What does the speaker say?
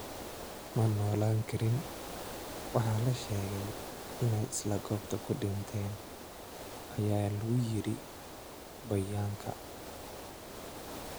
"Ma noolaan karin, waxaana la sheegay inay isla goobta ku dhinteen" ayaa lagu yiri bayaanka.